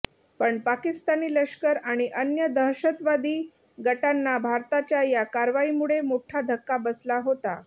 पण पाकिस्तानी लष्कर आणि अन्य दहशतवादी गटांना भारताच्या या कारवाईमुळे मोठा धक्का बसला होता